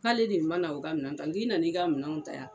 K'ale de mana o ka minɛn ta n k'i nana i ka minɛnw ta yan